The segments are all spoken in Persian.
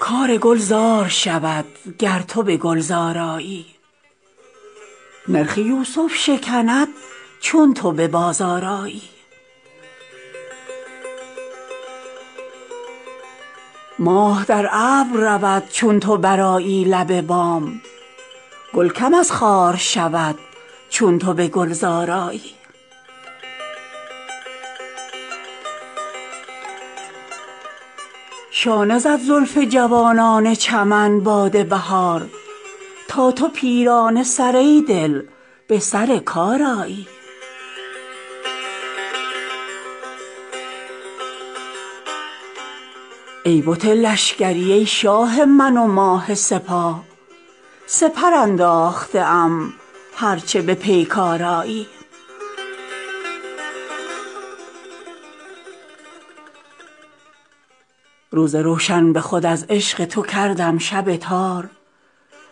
کار گل زار شود گر تو به گلزار آیی نرخ یوسف شکند چون تو به بازار آیی ماه در ابر رود چون تو برآیی لب بام گل کم از خار شود چون تو به گلزار آیی شانه زد زلف جوانان چمن باد بهار تا تو پیرانه سر ای دل به سر کار آیی ای بت لشکری ای شاه من و ماه سپاه سپر انداخته ام هرچه به پیکار آیی روز روشن به خود از عشق تو کردم شب تار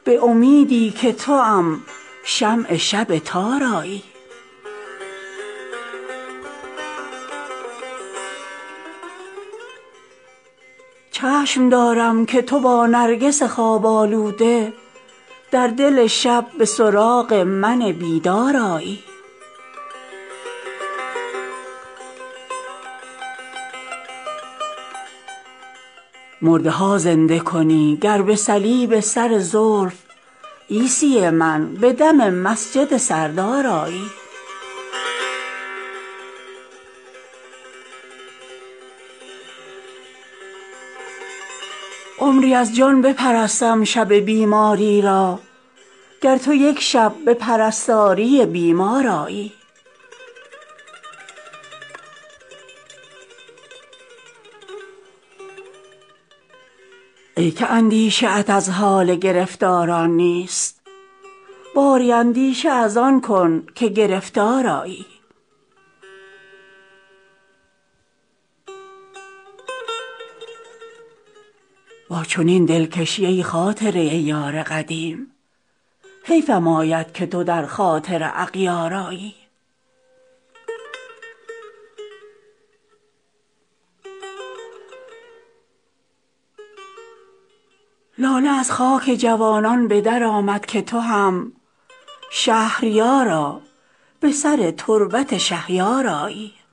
به امیدی که توام شمع شب تار آیی سایه و روشن مهتاب چنانم آشفت که تو از هر در و دیوار پدیدار آیی چشم دارم که تو با نرگس خواب آلوده در دل شب به سراغ من بیدار آیی خرمن طاعت مسجد رود آن روز به باد که تو از میکده با آتش رخسار آیی راستی رشته تسبیح گسستن دارد چون تو ترسا بچه با حلقه زنار آیی مرده ها زنده کنی گر به صلیب سر زلف عیسی من به دم مسجد سردار آیی عمری از جان بپرستم شب بیماری را گر تو یک شب به پرستاری بیمار آیی ای که اندیشه ات از حال گرفتاران نیست باری اندیشه از آن کن که گرفتار آیی با من این رفته قضا ای دل آزرده من که تو آزرده یاران دل آزار آیی با چنین دلکشی ای خاطره یار قدیم حیفم آید که تو در خاطر اغیار آیی لاله از خاک جوانان به در آمد که تو هم شهریارا به سر تربت شهیار آیی